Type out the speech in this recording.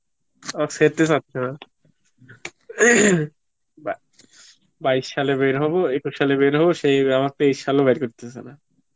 আর চাচ্ছে না, বাইশ সালে বের হব, একুশ সালে বের হব আবার সে তেইশ সালেও বের করতেসে না